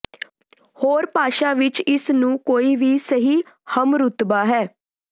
ਹੋਰ ਭਾਸ਼ਾ ਵਿੱਚ ਇਸ ਨੂੰ ਕੋਈ ਵੀ ਸਹੀ ਹਮਰੁਤਬਾ ਹੈ